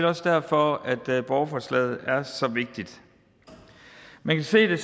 også derfor at borgerforslaget er så vigtigt man kan se det